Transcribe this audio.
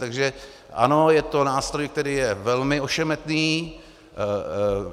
Takže ano, je to nástroj, který je velmi ošemetný.